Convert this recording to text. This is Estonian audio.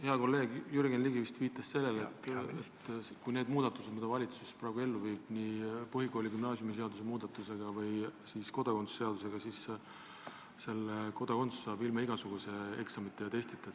Hea kolleeg Jürgen Ligi vist viitas sellele, et kui need muudatused, mida valitsus praegu ellu viib nii põhikooli- ja gümnaasiumiseadust kui ka kodakondsuse seadust muutes, siis Eesti kodakondsuse saab ilma igasuguse eksamita ja testita.